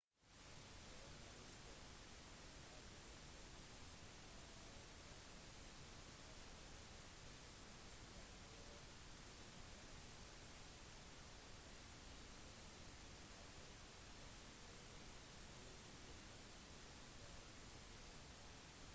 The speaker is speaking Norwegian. journalister har blitt opplyst av crown office som har overordnet ansvar for påtalemyndighet at ingen ytterligere kommentarer vil bli lagt frem før tiltale